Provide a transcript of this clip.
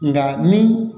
Nka ni